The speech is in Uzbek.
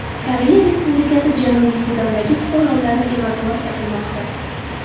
Koreya Respublikasi Janubiy Sudandagi fuqarolarini evakuatsiya qilmoqda.